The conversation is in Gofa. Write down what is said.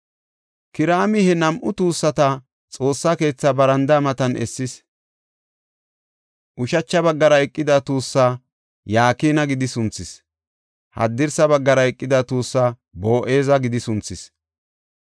Kiraami he nam7u tuussata Xoossaa keethaa barandaa matan essis. Ushacha baggara eqida tuussaa Yakina gidi sunthis; haddirsa baggara eqida tuussaa Boo7eza gidi sunthis.